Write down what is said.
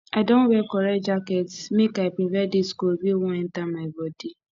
i don wear correct jacket make i prevent dis cold wey wan enta my bodi